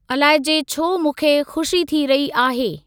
अलाइ जे छो मूंखे खुशी थी रही आहे।